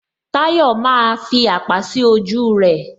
Tayọ maaa fi àpá sí ojú rẹ